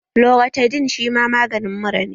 Loratadin shi ma maganin mura ne